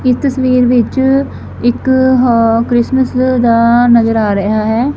ਇਸ ਤਸਵੀਰ ਵਿੱਚ ਇੱਕ ਹਾਂ ਕ੍ਰਿਸਮਸ ਦਾ ਨਜਰ ਆ ਰਿਹਾ ਹੈ।